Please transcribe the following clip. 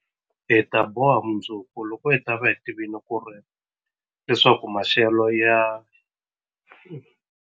Hi ta boha mundzuku, loko hi ta va hi tivile leswaku maxelo ya.